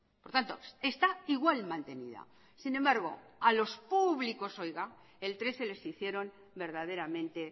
por tanto está igual mantenida sin embargo a los públicos oiga el trece les hicieron verdaderamente